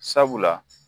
Sabula